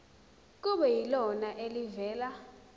kube yilona elivela